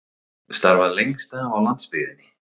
Starfað lengst af á landsbyggðinni